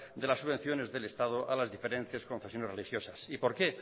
de las subvenciones del estado a las diferentes confesiones religiosas y por qué